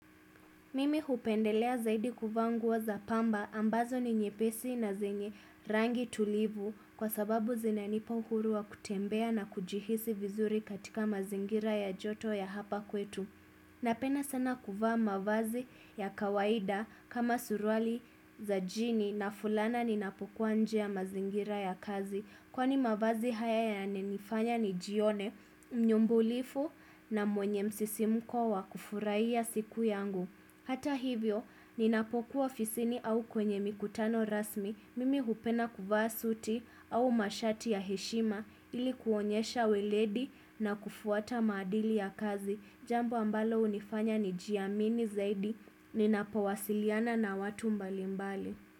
Mimi hupendelea zaidi kuvaa nguo za pamba ambazo ni nyepesi na zenye rangi tulivu kwa sababu zinanipa uhuru wa kutembea na kujihisi vizuri katika mazingira ya joto ya hapa kwetu. Napenda sana kuvaa mavazi ya kawaida kama suruali za jini na fulana ninapokuwa nje ya mazingira ya kazi kwani mavazi haya yanifanya nijione, nyumbulifu na mwenye msisimuko wa kufurahia siku yangu. Hata hivyo, ninapokuwa ofisini au kwenye mikutano rasmi, mimi hupenda kuvaa suti au mashati ya heshima ili kuonyesha weledi na kufuata maadili ya kazi, jambo ambalo hunifanya nijiamini zaidi, ninapowasiliana na watu mbali mbali.